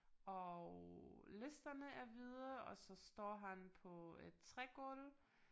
Og listerne er hvide og så står han på et trægulv